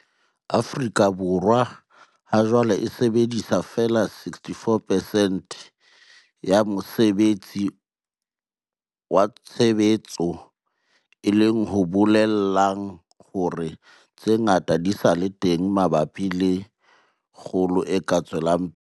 Afrika Borwa hajwale e sebedisa feela 64 percent ya mosebetsi wa tshebetso, e leng ho bolelang hore tse ngata di sa le teng mabapi le kgolo e ka tswelang pele.